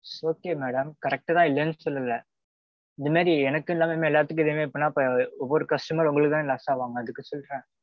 okay madam correct தான் இல்லனு சொல்லல. முன்னாடி எனக்கு இல்லாம எல்லாத்துக்கும் இதே மாதிரி பண்ணா அப்புறம் ஒவ்வொரு customer உங்களுக்கு தான் loss அவாங்க. அதுக்கு சொல்றேன்.